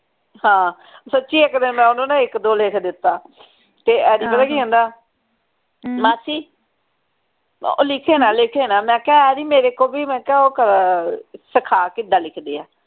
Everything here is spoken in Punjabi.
ਹਾਂ ਸਚੀਚੀ ਇਕ ਦਿਨ ਨਾ ਮੈਂ ਓਹਨੂੰ ਇਕ ਦੋ ਲਿਖ ਦਿੱਤਾ ਤੇ ਅੱਜ ਪਤਾ ਕਿ ਕਹਿੰਦਾ ਅਹ ਉਹ ਲਿਖਿਓ ਨਾ ਲਿਖਿਓ ਨਾ ਮੈਂ ਕਿਹਾ ਆਰੀ ਮੇਰੇ ਕੋਲ ਵੀ ਮੈਂ ਕਿਹਾ ਉਹ ਕਰ ਅਹ ਸਿਖਾ ਕਿੱਦਾਂ ਲਿਖਦੇ ਆ